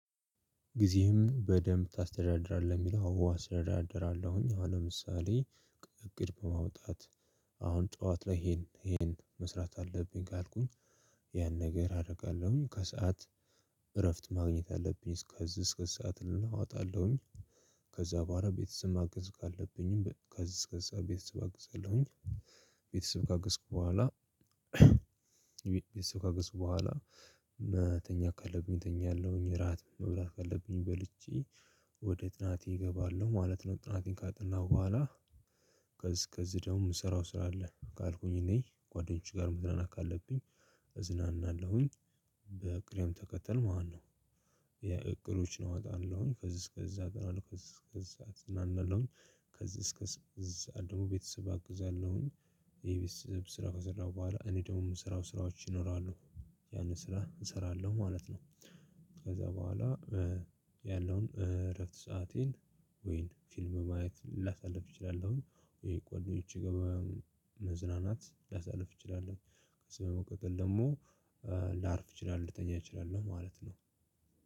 ጊዜህን በደንብ ታስተዳድራለህ? ለሚለው አዎ አስተዳድራለሁኝ አሁን ለምሳሌ እቅድ በማውጣት አሁን ጠዋት ላይ ይሄን ይሄን መስራት አለብኝ ካልኩኝ ያን ነገር አደርጋለሁኝ ከሰአት እረፍት ማግኘት አለብኝ እስከ እዝ እስከ ሰዓት እል እና አወጣለሁኝ። ከዛ ቡሃላ ቤተሰብ ማገዝ ካለብኝ ከዚህ እስከዚህ ሰዓት ቤተሰብ አግዛለሁኝ። ቤተሰብ ካገዝኩ በኋላ ካገዝኩ በኋላ መተኛ ካለብኝ እተኛለሁኝ እራት መብላት ካለብኝ በልቼ ወደ ጥናቴ እገባለሁ ማለት ነው። ጥናቴን ካጠናሁ በኋላ ከዚህ እስከዚህ ደግሞ የምሰራው ስራ አለ ካልኩኝ እኔ ጓደኞቼ ጋር መዝናናት ካለብኝ እዝናናለሁኝ። በቅደም ተከተል ማለት ነው። እቅዶችን አወጣለሁኝ ከዚህ እስከዚህ አጠናለሁኝ ከዚህ እስከዚህ ሰዓት አጠናለሁኝ። ከዚህ እስከዚ ደግሞ ቤተሰብ አግዛለሁኝ። የ ቤተሰብ ስራ ከሰራሁ በኋላ እኔ ደግሞ የምስራው ስራዎች ይኖራሉ። ያንን ስራ እሰራለሁ ማለት ነው። ከዛ በኋላ እ ያለውን እ እረፍት ሰአቴን ወይን ፊልም በ ማየት ላሳልፍ እችላለሁ። ወይ ከጉአደቼ ጋ በ መዝናናት ላሳልፍ እችላለሁ። ከዛ በመቀጠል ደግሞ እ ላርፍ እችላለሁ ልተኛ እችላለሁ ማለት ነው።